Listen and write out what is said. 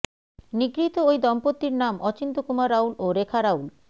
নিগৃহীত ওই দম্পতির নাম অচিন্ত্য কুমার রাউল ও রেখা রাউল